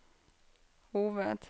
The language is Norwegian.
hoved